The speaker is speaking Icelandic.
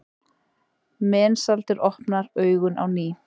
Mensalder opnar augun á ný.